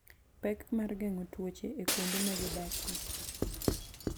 Pek mar geng'o tuoche e kuonde ma gi odakie.